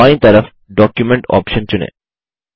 बायीं तरफ document option चुनें